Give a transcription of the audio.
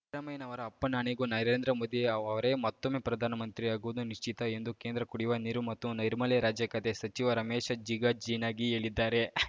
ಸಿದ್ದರಾಮಯ್ಯನವರ ಅಪ್ಪನಾಣೆಗೂ ನರೇಂದ್ರ ಮೋದಿ ಅವರೇ ಮತ್ತೊಮ್ಮೆ ಪ್ರಧಾನಮಂತ್ರಿ ಆಗುವುದು ನಿಶ್ಚಿತ ಎಂದು ಕೇಂದ್ರ ಕುಡಿಯುವ ನೀರು ಮತ್ತು ನೈರ್ಮಲ್ಯ ರಾಜ್ಯ ಖಾತೆ ಸಚಿವ ರಮೇಶ್‌ ಜಿಗಜಿಣಗಿ ಹೇಳಿದ್ದಾರೆ